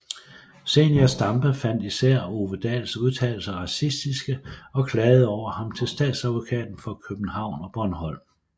Zenia Stampe fandt især Ove Dahls udtalelser racistiske og klagede over ham til Statsadvokaten for København og Bornholm